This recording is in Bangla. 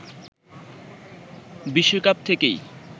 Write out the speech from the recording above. বিশ্বকাপ থেকেই